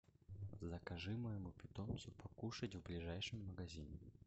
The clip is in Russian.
закажи моему питомцу покушать в ближайшем магазине